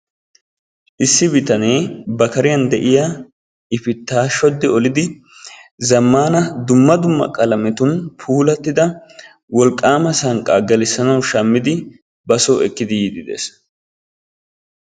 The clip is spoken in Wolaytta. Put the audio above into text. Issi bitanee ba kariyaan de'iyaa ifitta shoddi olidi zammana dumma dumma qalametun puulatidda wolqqama sanqqa gelissanaw shammidi ba soo ekkidi yiide dees.